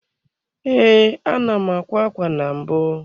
Ee, ana m akwa ákwá na mbụ.